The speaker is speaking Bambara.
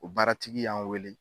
O baaratigi y'an wele